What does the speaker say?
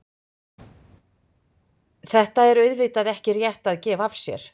Þetta er auðvitað ekki rétt að gefa sér.